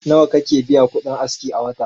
Nawa kake biya kudin aski a wata?